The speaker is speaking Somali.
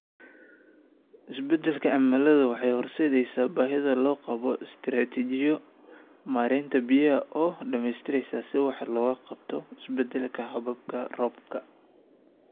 Isbeddelka cimiladu waxa ay horseedaysaa baahida loo qabo istaraatiijiyooyin maaraynta biyaha oo dhammaystiran si wax looga qabto isbeddelka hababka roobabka.